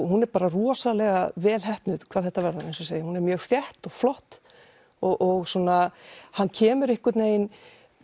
hún er bara rosalega vel heppnuð hvað þetta varðar eins og ég segi hún er mjög þétt og flott og hann kemur einhvern veginn